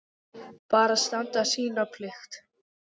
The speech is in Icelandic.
Bara standa sína plikt.